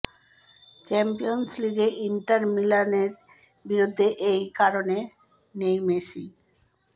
champions লিগে Inter মিলানের বিরুদ্ধে এই কারণে নেই মেসি